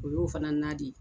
O y'o fana nan di.